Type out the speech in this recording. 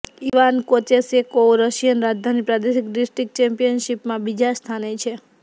Ivan Kocheshekov Russian રાજધાની પ્રાદેશિક district ચેમ્પિયનશિપમાં બીજા સ્થાને છે